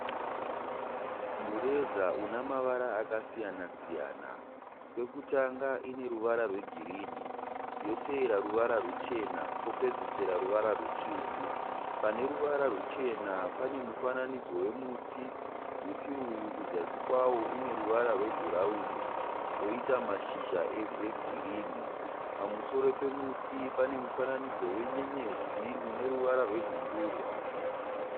Mureza une mavara akasiyana siyana. Pekutanga ine ruvara rwegirinhi yoteera ruvara ruchena kopedzisira ruvara ruvara rutsvuku. Pane ruvara ruchena pane mufananidzo wemuti. Muti uyu kuzasi kwawo une ruvara rwebhuraini woita mashizha egirinhi. Pamusoro pawo pane mufananidzo wenyenyedzi une ruvara rwenhundurwa.